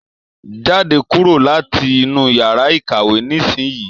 Jáde kúrò láti inú yàrá ìkàwé nisinyi!